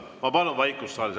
Ma palun vaikust saalis.